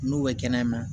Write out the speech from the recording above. N'u bɛ kɛnɛya na